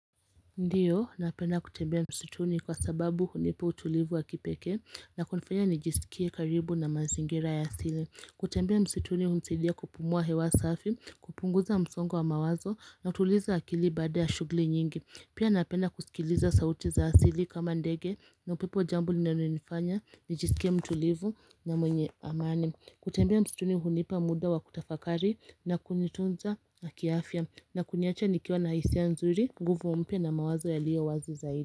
Ndiyo, napenda kutembea msituni kwa sababu hunipo utulivu wa kipeke na kunifanya nijisikie karibu na manzingira ya asili kutembea msituni hunisaidia kupumua hewa safi, kupunguza msongo wa mawazo na kutuliza akili bada ya shugli nyingi Pia napenda kusikiliza sauti za asili kama ndege na upipo jambo linallonifanya nijisikie mtulivu na mwenye amani kutembea msituni hunipa muda wa kutafakari na kunitunza na kiafya na kuniacha nikiwa na hisia nzuri, nguvu mpya na mawazo yaliyo wazi zaidi.